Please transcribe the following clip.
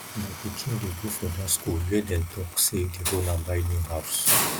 my pikin dey go for dat school where dey talks say the owner buy new house